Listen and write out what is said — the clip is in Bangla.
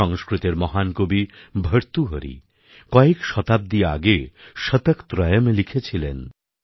সংস্কৃতের মহান কবি ভর্তুহরি কয়েক শতাব্দী আগে শতকত্রয়ম্এ লিখেছিলেন